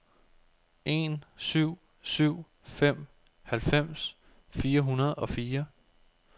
en syv syv fem halvfems fire hundrede og fire